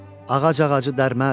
Ağac ağacı dərməz.